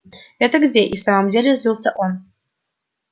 это где и в самом деле злился он